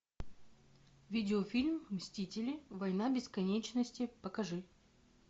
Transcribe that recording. видеофильм мстители война бесконечности покажи